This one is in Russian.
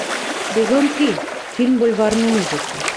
сезон три фильм бульварные ужасы